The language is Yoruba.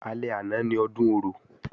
Alẹ́ àná ni Ọdún Orò